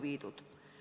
Madis Milling, palun!